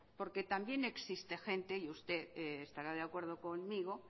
porque también existe gente y usted estará de acuerdo conmigo